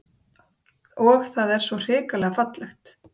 Og það er svo hrikalega fallegt